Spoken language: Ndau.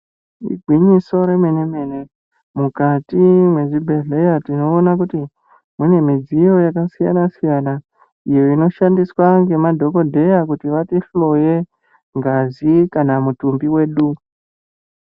Igwinyiso remene-mene, mukati mwezvibhedhleya tinoona kuti ,mune mudziyo yakasiyana-siyana, iyo inoshandiswa ngemadhokodheya kuti vatihloye, ngazi kana mutumbi wedu.